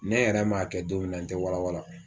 Ne yɛrɛ ma kɛ donmin na n te walawala